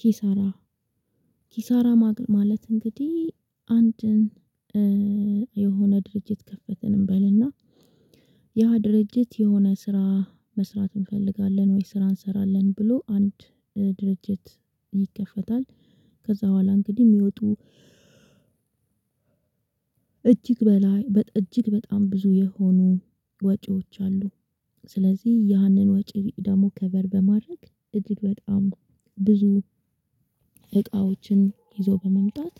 ኪሳራ ኪሳራ ማለት እንግዲህ አንድን የሆነ ድርጅት ከፈተን እንበልና ያ ድርጅት የሆነ ስራ መስራት እንፈልጋለን ወይ ስራ እንሰራለን ብሎ አንድ ድርጅት ይከፈታል። ከዛ በኋላ እንግዲህ የሚወጡ እጅግ በላይ እጅግ በጣም ብዙ የሆኑ ወጪዎች አሉ። ስለዚህ ያንን ወጪ ደግሞ ከበር በማድረግ እጅግ በጣም ብዙ እቃዎችን ይዞ በመምጣት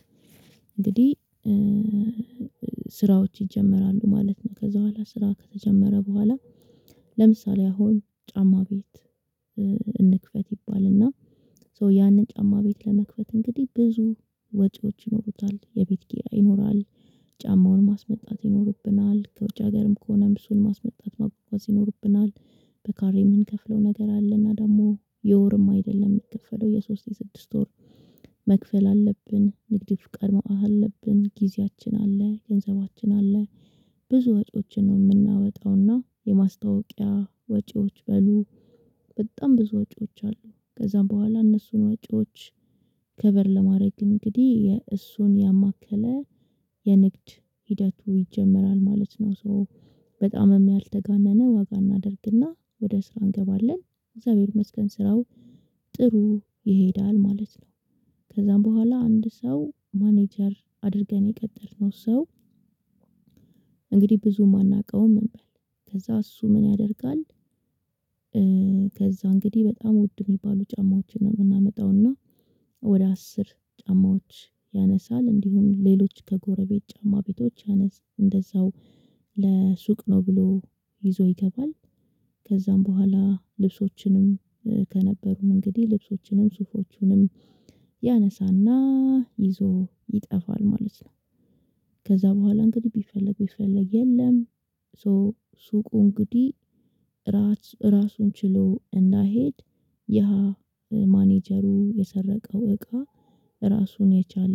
እንግዲህ እ እ ስራዎች ይጀመራሉ ማለት ነው። ከዛ በኋላ ስራ ከተጀመረ በኋላ ለምሳሌ አሁን ጫማ ቤት እንክፈት ይባልና ያንን ጫማ ቤት ለመክፈት እንግዲህ ብዙ ወጪዎች ይኖሩታል። የቤት ኪራይ ይኖራል። ጫማውን ማስመጣት ይኖርብናል ከውጭ ሀገርም ከሆነም እሱን ማስመጣት፣ ማጓጓዝ ይኖርብናል። በካሬ የምንከፍለው ነገር አለና ደግሞ የወርም አይደለም የሚከፈለው የሶስት፣ የስድስት ወር መክፈል አለብን። ንግድ ፈቃድ ማውጣት አለብን፤ ጊዜያችን አለ ገንዘባችን አለ፤ ብዙ ወጪዎችን ነው የምናወጣውና የማስታወቂያ ወጪዎች አሉ። በጣም ብዙ ወጪዎች አሉ ከዛም በኋላ እነሱን ወጪዎች ከበር ለማድረግ እንግዲህ የእሱን ያማከለ የንግድ ሂደቱ ይጀመራል ማለት ነው ሶ በጣምም ያልተጋነነ ዋጋ እናደርግና ወደ ስራ እንገባለን። እግዚአብሔር ይመስገን ስራው ጥሩ ይሄዳል ማለት ነው። ከዛም በኋላ አንድ ሰው ማኔጀር አድርገን የቀጠርነው ሰው እንግዲህ ብዙ የማናውቀውም እንበል ከዛ እሱ ምን ያደርጋል? ከዛ እንግዲህ በጣም ውድ የሚባሉ ጫማዎችን ነው የምናመጣው እና ወደ አስር ጫማዎች ያነሳል እንዲሁም ሌሎች ከጎረቤት ጫማ ቤቶች እንደዛው ለሱቅ ነው ብሎ ይዞ ይገባል። ከዛም በኋላ ልብሶችንም ከነበሩን እንግዲህ ልብሶችንም ሱፎቹንም ያነሳና ይዞ ይጠፋል ማለት ነው። ከዛ በኋላ እንግዲህ ቢፈለጉ ቢፈለግ የለም። ሶ ሱቁ እንግዲህ ራስ ራሱን ችሎ እንዳይሄድ ያ ማኔጀሩ የሰረቀው እቃ ራሱን የቻለ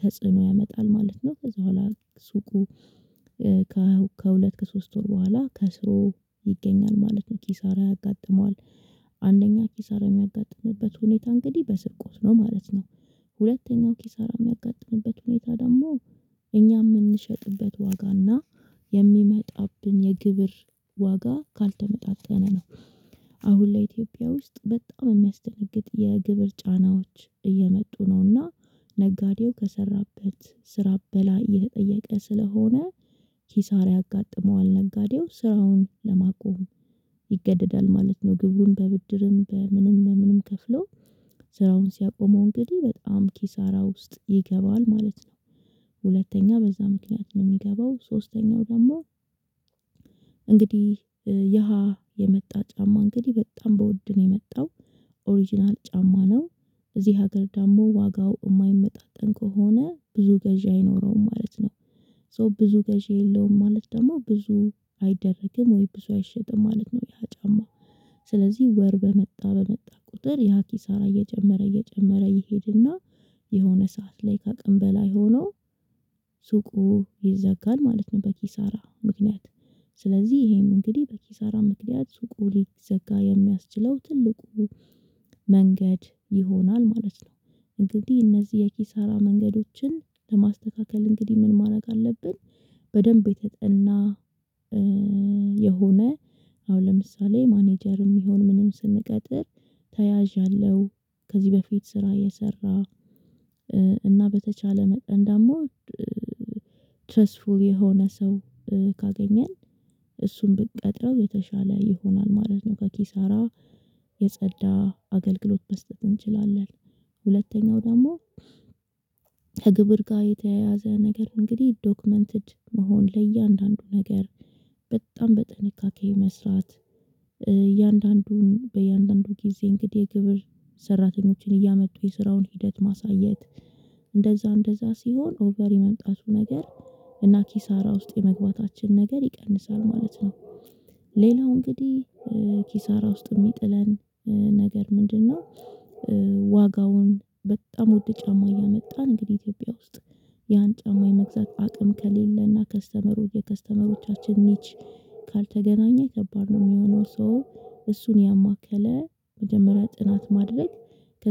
ተጽዕኖ ያመጣል ማለት ነው። ከዛ በኋላ ሱቁ ከሁለት፣ ከሶስት ወር በኋላ ከስሮ ይገኛል ማለት ነው ኪሳራ ያጋጥመዋል። አንደኛ ኪሳራ የሚያጋጥምበት ሁኔታ እንግዲህ በስርቆት ነው ማለት ነው። ሁለተኛው ኪሳራ የሚያጋጥምበት ሁኔታ ደግሞ እኛ የምንሸጥበት ዋጋና የሚመጣብን የግብር ዋጋ ካልተመጣጠነ ነው። አሁን ላይ ኢትዮጵያ ውስጥ በጣም የሚያስደነግጥ የግብር ጫናዎች እየመጡ ነውና ነጋዴው ከሰራበት ስራ በላይ የተጠየቀ ስለሆነ ኪሳራ ያጋጠመዋል ነጋዴው ስራውን ለማቆም ይገደዳል ማለት ነው። ግብሩን በብድርም በምንም በምንም ከፍለው ስራውን ሲያቆመው እንግዲህ በጣም ኪሳራ ውስጥ ይገባል ማለት ነው። ሁለተኛ በዛ ምክንያት ነው የሚገባው ሶስተኛው ደግሞ እንግዲህ የሃ የመጣ ጫማ እንግዲህ በጣም በውድ ነው የመጣው ኦሪጅናል ጫማ ነው። እዚህ ሀገር ደግሞ ዋጋው የማይመጣጠን ከሆነ ብዙ ገዢ አይኖረውም ማለት ነው። ሶ ብዙ ገዢ የለውም ማለት ደግሞ ብዙ አይደረግም ወይ ብዙ አይሸጥም ማለት ነው ያ ጫማ። ስለዚህ ወር በመጣ በመጣ ቁጥር ያ ኪሳራ እየጨመረ እየጨመረ ይሄድና የሆነ ሰዓት ላይ ከአቅም በላይ ሆኖ ሱቁ ይዘጋል ማለት ነው በኪሳራ ምክንያት ስለዚህ ይሄም እንግዲህ በኪሳራ ምክንያት ሱቁ ሊዘጋ የሚያስችለው ትልቁ መንገድ ይሆናል ማለት ነው። እንግዲህ እነዚህ የኪሳራ መንገዶችን ለማስተካከል እንግዲህ ምን ማድረግ አለብን በደንብ የተጠና እ የሆነ አሁን ለምሳሌ ማኔጀርም ይሁን ምንም ስንቀጥር ተያዥ ያለው፤ ከዚህ በፊት ስራ የሰራ እና በተቻለ መጠን ደግሞ እ ትረስፉል የሆነ ሰው ካገኘን እሱን ብትቀጥረው የተሻለ ይሆናል ማለት ነው። ከኪሳራ የጸዳ አገልግሎትመስጠት እንችላለን። ሁለተኛው ደግሞ ከግብር ጋር የተያያዘ ነገር እንግዲህ ዶክመንትድ መሆን ለእያንዳንዱ ነገር በጣም በጥንቃቄ መስራት እያንዳንዱን በእያንዳንዱ ጊዜ እንግዲህ የግብር ሰራተኞችን እያመጡ የስራውን ሂደት ማሳየት እንደዛ እንደዛ ሲሆን ኦቨር የመምጣቱ ነገር እና ኪሳራ ውስጥ የመግባታችን ነገር ይቀንሳል ማለት ነው። ሌላው እንግዲህ ኪሳራ ውስጥ የሚጥለን ነገር ምንድነው? እ ዋጋውን በጣም ውድ ጫማ እያመጣን እንግዲህ ኢትዮጵያ ውስጥ ያን ጫማ የመግዛት አቅም ከሌለና ከስተመሩ የከስተመሮቻችን ወጪ ካልተገናኘ ከባድ ነው የሚሆነው ሰው እሱን ያማከለ የመጀመሪያ ጥናት ማድረግ